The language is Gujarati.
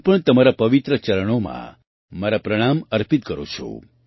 હું પણ તમારાં પવિત્ર ચરણોમાં મારા પ્રણામ અર્પિત કરું છું